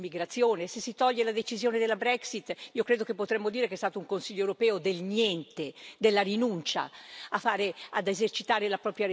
Se si toglie la decisione sulla Brexit, credo che potremmo dire che è stato un Consiglio europeo del niente, della rinuncia a esercitare la propria responsabilità.